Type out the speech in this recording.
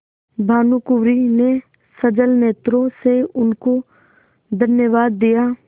भानुकुँवरि ने सजल नेत्रों से उनको धन्यवाद दिया